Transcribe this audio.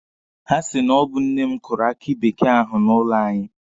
Ha si na ọ bụ nne m kụrụ aki bekee ahụ n'ụlọ anyị.